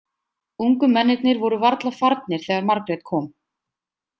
Ungu mennirnir voru varla farnir þegar Margrét kom.